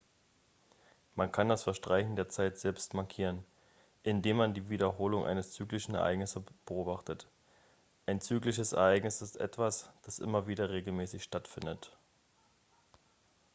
man kann das verstreichen der zeit selbst markieren indem man die wiederholung eines zyklischen ereignisses beobachtet ein zyklisches ereignis ist etwas das immer wieder regelmäßig stattfindet